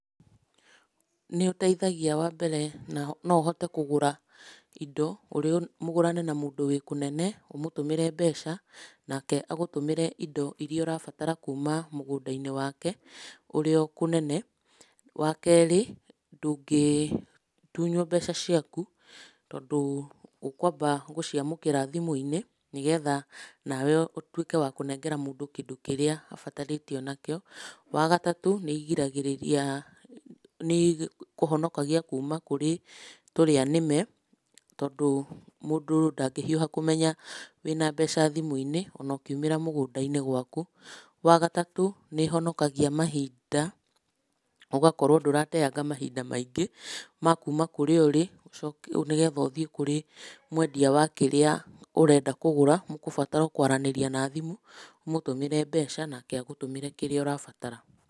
Nĩ ũteithagia wambere, no ũhote kũgũra indo, ũrĩo, mũgũrane na mũndũ wĩ kũnene ũmũtũmĩre mbeca, nake agũtũmĩre indo iria ũrabatara kuma mũgũnda-inĩ wake ũrĩ o kũnene. Wakerĩ, ndũngĩtunyuo mbeca ciaku, tondũ ũkwamba gũciamũkĩra thimũ-inĩ nĩgetha nawe ũtuĩke wa kũnengera mũndũ kĩndũ kĩrĩa abatarĩtio nakĩo. Wagatatũ nĩigiragĩrĩria, nĩikũhonokagia kuma kũrĩ tũrĩa nĩme, tondũ mũndũ ndangĩhiũha kũmenya wĩna mbeca thimũ-inĩ, ona ũkiumĩra mũgũnda-inĩ gwaku. Wagatatũ nĩ ĩhonokagia mahinda, ũgakorwo ndũrateanga mahinda maingĩ ma kuma kũrĩa ũrĩ, ũcoke nĩgetha ũthiĩ kũrĩ mwendia wa kĩrĩa ũrenda kũgũra, mũkũbatara o kwaranĩria na thimũ, ũmũtũmĩre mbeca, nake agũtũmĩre kĩrĩa ũrabatara.